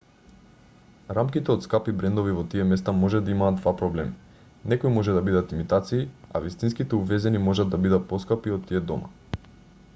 рамките од скапи брендови во тие места може да имаат два проблеми некои може да бидат имитации а вистинските увезени може да бидат поскапи од тие дома